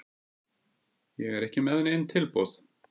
Ég er ekki með nein tilboð.